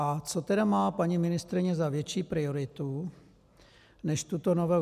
A co tedy má paní ministryně za větší prioritu než tuto novelu?